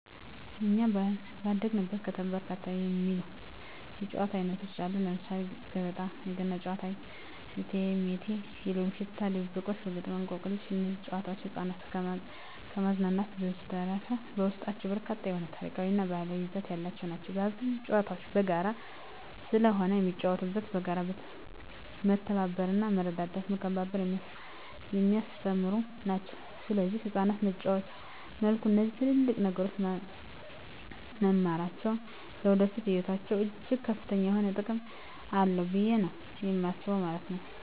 በኛ ባደግንበት ከተማ በርካታ የሚባሉ የጨዋታ አይነቶች አሉ ለምሳሌ ገበጣ: የገና ጨዋታ እቴሜቴ የሎሚ ሽታ ድብብቆሽ ገበጣ እንቆቅልሽ እነዚህ ጨዋታዎች ህፃናትን ከማዝናናት በዠተረፈ በውስጣቸው በርካታ የሆነ ታሪካዊ እና ባህላዊ ይዘት ያላቸው ናቸው አብዛኞቹ ጨዋታዎች በጋራ ስለሆነ የሚጫወተው በጋራ መተባበርና መረዳዳትና መከባበርን የሚያስተምሩ ናቸው ሰለዚህ ህፃናት በጨዋታ መልኩ እነዚህ ትልልቅ ነገሮች መማራቸው ለወደፊቱ ህይወታቸው እጅግ ከፍተኛ የሆነ ጥቅም አለው ብየ ነው የማስበው ማለት ነው።